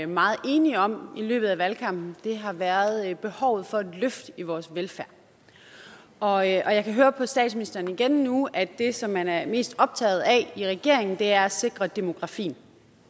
meget enige om i løbet af valgkampen har været behovet for et løft af vores velfærd og jeg kan høre på statsministeren igen nu at det som man er mest optaget af i regeringen er at sikre demografien